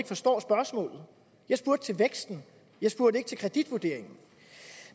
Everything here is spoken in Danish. forstår spørgsmålet jeg spurgte til væksten jeg spurgte ikke til kreditvurderingen